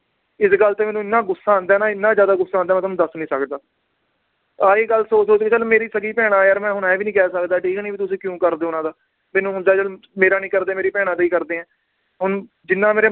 ਇਸ ਗੱਲ ਤੇ ਮੈਨੂੰ ਇਹਨਾਂ ਗੁੱਸਾ ਆਂਦਾ ਹੈ ਨਾ ਇੰਨਾ ਜ਼ਿਆਦਾ ਗੁੱਸਾ ਆਂਦਾ ਏ ਮੈ ਤੁਹਾਨੂੰ ਦਸ ਨੀ ਸਕਦਾ ਆਹੀ ਗੱਲ ਸੋਚ ਸੋਚ ਕੇ ਚੱਲ ਮੇਰੀ ਸਗੀ ਭੈਣਾਂ ਯਾਰ ਮੈ ਹੁਣ ਇਹ ਵੀ ਨੀ ਕਹਿ ਸਕਦਾ ਠੀਕ ਨੀ ਵੀ ਤੁਸੀਂ ਕਿਉਂ ਕਰਦੇ ਓ ਉਹਨਾਂ ਦਾ, ਮੈਨੂੰ ਹੁੰਦਾ ਚੱਲ ਮੇਰਾ ਨੀ ਕਰਦੇ ਮੇਰੀ ਭੈਣਾਂ ਦਾ ਈ ਕਰਦੇ ਏ ਹੁਣ ਜਿਨਾਂ ਮੇਰੇ